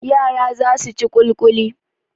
Yara za su ci ƙulƙuli.